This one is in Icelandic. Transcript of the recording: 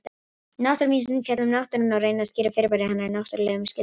Náttúruvísindi fjalla um náttúruna og reyna að skýra fyrirbæri hennar náttúrlegum skilningi.